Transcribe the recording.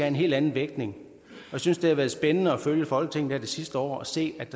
en helt anden vægtning jeg synes det har været spændende at følge folketinget her det sidste år og se at